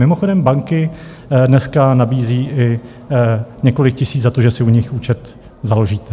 Mimochodem banky dneska nabízejí i několik tisíc za to, že si u nich účet založíte.